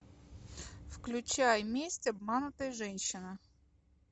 включай месть обманутой женщины